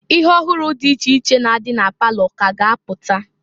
Ihe ọhụrụ dị iche iche na-adi na palọ ka ga apụta.